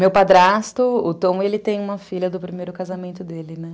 Meu padrasto, o Tom, ele tem uma filha do primeiro casamento dele, né?